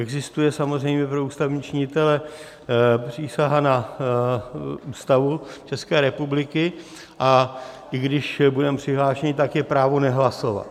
Existuje samozřejmě pro ústavní činitele přísaha na Ústavu České republiky, a i když budeme přihlášeni, tak je právo nehlasovat.